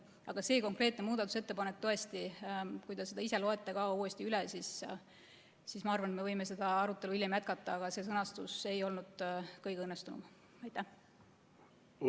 Aga see konkreetne muudatusettepanek, tõesti, kui te ka ise loete selle uuesti üle – ma arvan, et me võime seda arutelu hiljem jätkata –, selle sõnastus ei olnud kõige õnnestunum.